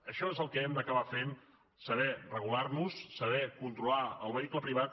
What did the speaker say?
això és el que hem d’acabar fent saber regular nos saber controlar el vehicle privat